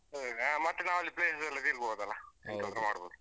ಅದೇ ಮತ್ತೆ ನಾವಲ್ಲಿ place ಎಲ್ಲ ತಿರ್ಗಬೋದಲ್ವಾ